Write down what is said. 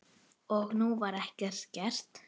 Og nú var ekkert gert.